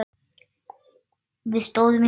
Við stóðum yfir honum.